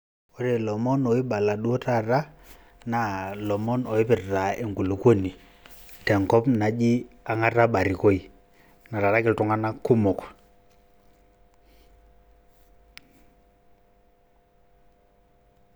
ore ilomon oibala duo taata naa ilomon oipirta enkulukuoni tenkop naji Ongata Barikoi etaraki iltunganak kumok